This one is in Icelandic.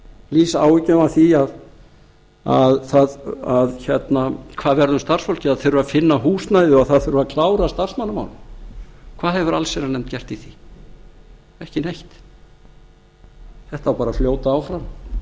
lýsa áhyggjum af því hvað verði um starfsfólkið að það þurfi að finna húsnæði og það þurfi að klára starfsmannamálin hvað hefur allsherjarnefnd gert í því ekki neitt þetta á bara að fljóta áfram